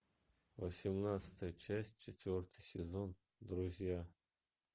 восемнадцатая часть четвертый сезон друзья